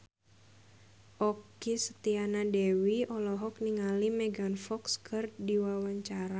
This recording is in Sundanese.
Okky Setiana Dewi olohok ningali Megan Fox keur diwawancara